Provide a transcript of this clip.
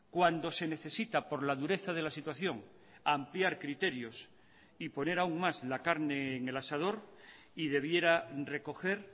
cuando se necesita por la dureza de la situación ampliar criterios y poner aún más la carne en el asador y debiera recoger